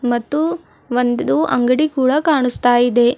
ಮತ್ತು ಒಂದುದು ಅಂಗಡಿ ಕೂಡ ಕಾಣಿಸ್ತಾ ಇದೆ.